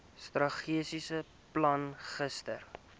strategiese plan gister